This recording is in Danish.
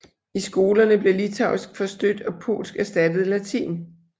I skolerne blev litauisk forstødt og polsk erstattede latin